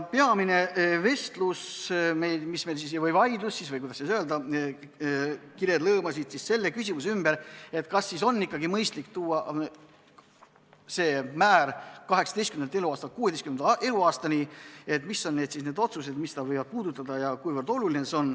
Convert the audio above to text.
Peamine vestlus või vaidlus oli, või kuidas öelda, kired lõõmasid selle küsimuse ümber, kas on ikkagi mõistlik tuua see määr 18. eluaastalt 16. eluaastale, mis on need otsused, mis seda teemat võivad puudutada, ja kuivõrd oluline see on.